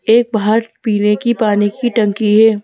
एक बाहर पीने की पानी की टंकी है।